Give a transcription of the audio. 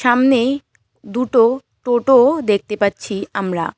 সামনেই দুটো টোটো দেখতে পাচ্ছি আমরা।